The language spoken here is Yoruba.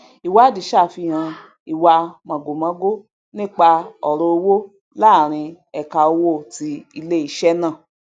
ìwádìí ṣàfihàn ìwa mọgòmọgó nípa ọrọ owo láàrin ẹka owó ti iléiṣẹ ná